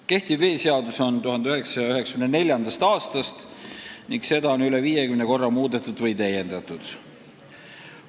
Praegune veeseadus kehtib 1994. aastast ning seda on üle 50 korra täiendatud ja muul viisil muudetud.